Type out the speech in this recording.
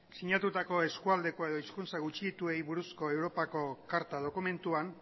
sinatutako eskualdeko edo hizkuntza gutxituei buruzko europako karta dokumentuan